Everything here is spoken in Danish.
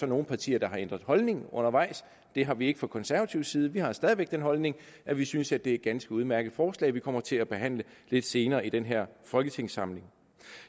nogle partier der har ændret holdning undervejs det har vi ikke fra konservativ side vi har stadig væk den holdning at vi synes at det er et ganske udmærket forslag vi kommer til at behandle lidt senere i den her folketingssamling